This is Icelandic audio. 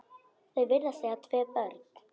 Þau virðast eiga tvö börn.